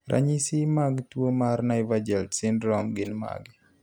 ranyisi mag tuo mar Nievergelt syndromegin mage?